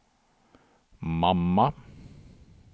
mamma